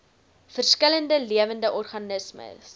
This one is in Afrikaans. verskillende lewende organismes